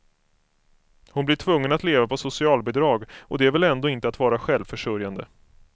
Hon blir tvungen att leva på socialbidrag, och det är väl ändå inte att vara självförsörjande.